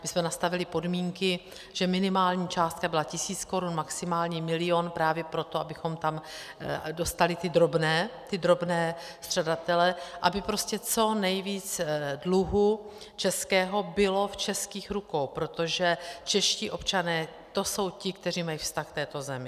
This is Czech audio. My jsme nastavili podmínky, že minimální částka byla tisíc korun, maximální milion, právě proto, abychom tam dostali ty drobné střadatele, aby prostě co nejvíc dluhu českého bylo v českých rukou, protože čeští občané, to jsou ti, kteří mají vztah k této zemi.